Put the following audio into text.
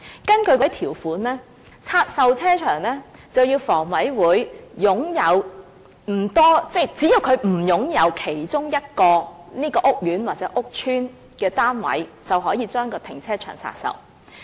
根據那些條款，要拆售停車場，房委會必須擁有不多......即只要它不擁有該屋苑或屋邨的其中一個單位，停車場便可以拆售。